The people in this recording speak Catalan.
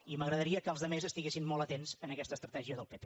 i m’agradaria que els altres estiguessin molt atents a aquesta estratègia del pp